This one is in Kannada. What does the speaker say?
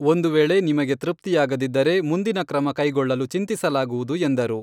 ಒಂದು ವೇಳೆ ನಿಮಗೆ ತೃಪ್ತಿಯಾಗದಿದ್ದರೆ ಮುಂದಿನ ಕ್ರಮ ಕೈಗೊಳ್ಳಲು ಚಿಂತಿಸಲಾಗುವುದು ಎಂದರು.